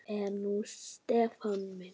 Hvað er nú Stefán minn?